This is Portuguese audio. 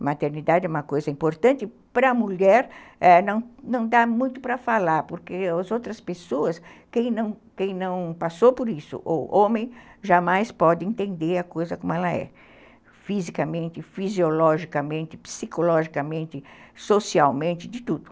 A maternidade é uma coisa importante, para a mulher ãh não dá muito para falar, porque as outras pessoas, quem não passou por isso, ou homem, jamais pode entender a coisa como ela é, fisicamente, fisiologicamente, psicologicamente, socialmente, de tudo.